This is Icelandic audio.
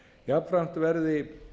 jafnframt verði